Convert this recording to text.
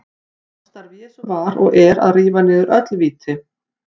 Já, starf Jesú var og er að rífa niður öll víti.